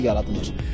yerlər yaradılır.